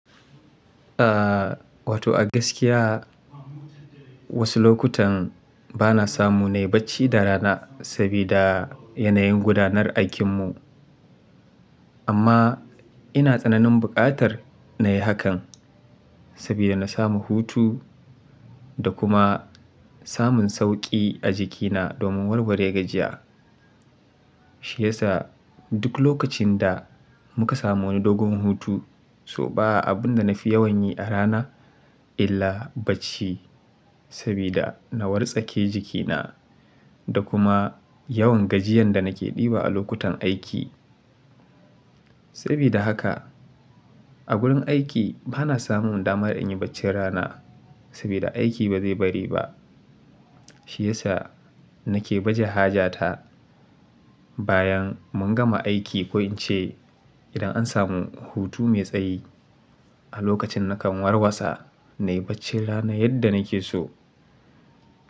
Ah wato a gaskiya. Wasu lokutan bana samu nai bacci da rana sabida yanayin gudanar aikinmu. Amma ina tsananin buƙatar na yi hakan. Sabida na samu hutu da kuma samun sauƙi a jikina domin warware gajiya. Shi yasa duk lokacin da muka samu wani dogon hutu, so ba a abun da na fi yawan yi a rana illa bacci. Sabida na wartsake jikina da kuma yawan gajiyan da nake ɗiba a lokutan aiki. Sabida haka a gurin aiki ba na samu dama in yi baccin rana sabida aiki ba zai bari ba. Shi yasa nake baje haja ta bayan mun gama aiki ko in ce. Idan an samu hutu mai tsayi A lokacin nakan warwasa nai baccin rana yadda nake so.